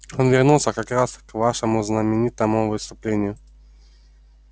он вернулся как раз к вашему знаменитому выступлению